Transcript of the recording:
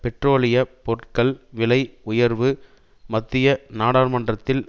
பெட்ரோலிய பொருட்கள் விலை உயர்வு மத்திய நாடாளுமன்றத்தில்